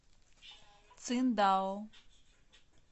циндао